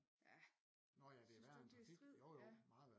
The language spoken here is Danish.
Ja synes du ikke det er stridt